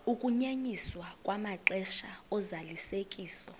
ukunyenyiswa kwamaxesha ozalisekiso